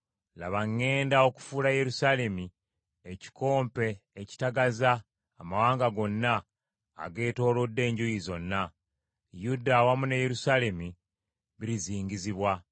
“Laba ŋŋenda okufuula Yerusaalemi ekikompe ekitagaza amawanga gonna ageetoolodde enjuuyi zonna. Yuda awamu ne Yerusaalemi birizingizibwa.